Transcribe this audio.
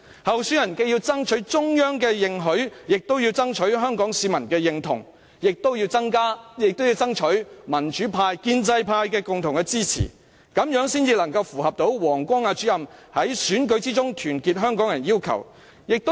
候選人既要爭取中央認許，亦要爭取香港市民認同及民主派與建制派共同支持，這樣才能符合王光亞主任在選舉中團結香港人的要求。